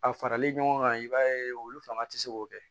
A farali ɲɔgɔn kan i b'a ye olu fanga tɛ se k'o kɛ